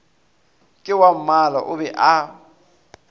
ke wammala o be a